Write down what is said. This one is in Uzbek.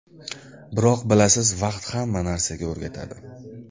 Biroq bilasiz vaqt hamma narsaga o‘rgatadi.